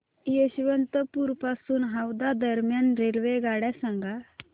यशवंतपुर पासून हावडा दरम्यान रेल्वेगाड्या सांगा